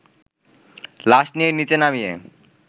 লাশ নিয়ে নিচে নামিয়ে